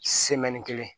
kelen